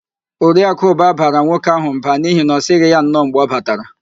Oriakụ Ụba bara nwoke ahụ mba n'ihi na ọ sịghị ya nnọọ mgbe ọ batara